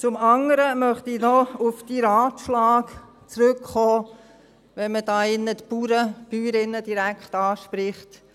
Zum anderen möchte ich noch auf deinen Ratschlag zurückkommen, wenn man hier drin die Bauern und Bäuerinnen direkt anspricht.